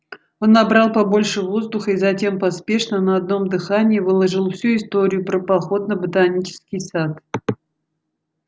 он набрал побольше воздуха и затем поспешно на одном дыхании выложил всю историю про поход на ботанический сад